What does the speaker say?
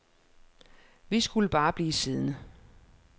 Vi skulle bare blive siddende.